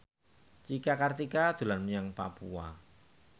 Cika Kartika dolan menyang Papua